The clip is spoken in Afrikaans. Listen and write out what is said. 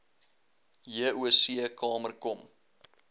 joc kamer kom